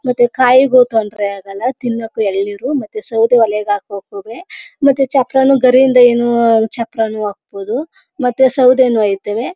ಮತ್ತೆ ಕಾಯಿಗೂ ತೊಂದ್ರೆ ಆಗಲ್ಲ ತಿನೋಕ್ಕೆ ಎಳ್ನೀರು ಮತ್ತೆ ಸೌದೆ ಒಲೆ ಹಾಕೋಕುವೆ ಮತ್ತೆ ಚಪ್ಪರನು ಗರಿಯಿಂದ ಏನು ಚಪ್ಪರನು ಹಾಕ್ಬಹುದು ಮತ್ತೆ ಸೌದೆನೂ ಹೈತವೇ.